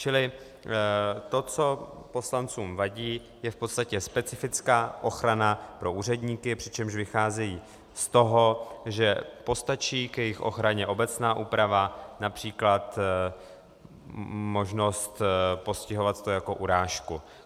Čili to, co poslancům vadí, je v podstatě specifická ochrana pro úředníky, přičemž vycházejí z toho, že postačí k jejich ochraně obecná úprava, například možnost postihovat to jako urážku.